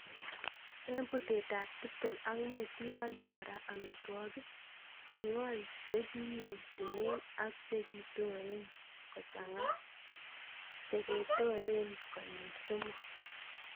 En betutab tiptem ak mut iwolchi kora omitwokik. Ing'ol chekiyetunen ak chekitoren kochang'a cheketoren konyil somok.